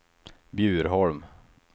Bjurholm